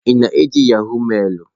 Ị na-eji yahọ̀g mailụ?